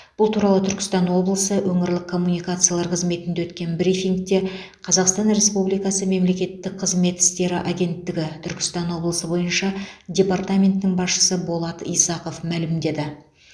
бұл туралы түркістан облысы өңірлік коммуникациялар қызметінде өткен брифингте қазақстан республикасы мемлекеттік қызмет істері агенттігі түркістан облысы бойынша департаментінің басшысы болат исақов мәлімдеді